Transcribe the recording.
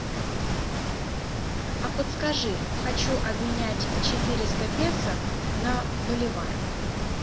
а подскажи хочу обменять четыреста песо на боливары